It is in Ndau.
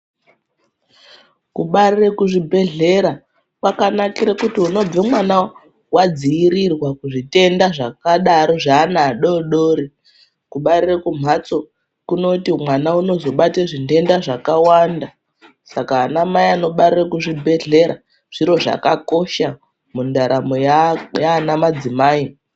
Kubare kuzvibhedhleya kwakanakire kuti unobve mwana wadziirirwa kuzvitenda zvakadaro zvaana adodori kubarire kumhatso kunoti mwana unozobate zvindenda zvakawanda Saka anamai anobarire kuzvibhedhleya zviro zvakakosha mundaramo yaana madzimai